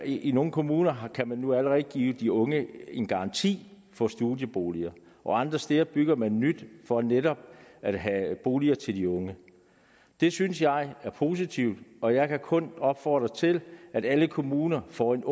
i nogle kommuner kan man nu allerede give de unge en garanti for studieboliger og andre steder bygger man nyt for netop at have boliger til de unge det synes jeg er positivt og jeg kan kun opfordre til at alle kommuner får en